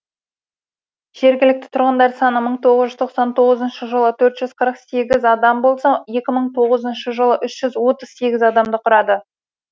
жергілікті тұрғындар саны мың тоғыз жүз тоқсан тоғызыншы жылы төрт жүз қырық сегіз адам болса екі мың тоғызыншы жылы үш жүз отыз сегіз адамды құрады